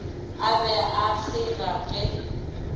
a be a kgeiga ge